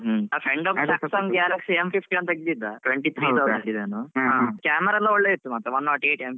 ಹ್ಮ್ ಹ್ಮ್. Galaxy ತೆಗ್ದಿದ್ದ Camera ಎಲ್ಲ ಒಳ್ಳೆ ಉಂಟು ಮಾತ್ರ One not eight MP.